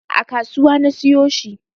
A kasuwa na siyo shi